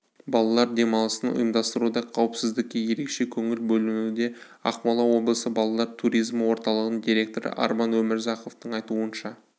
балалар демалысын ұйымдастыруда қауіпсіздікке ерекше көңіл бөлінуде ақмола облысы балалар туризмі орталығының директоры арман өмірзақовтың айтуынша